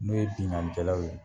N'o ye binkanikɛlaw ye